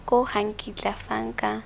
koo ga nkitla fa nka